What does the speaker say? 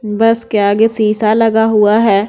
बस के आगे शीशा लगा हुआ है।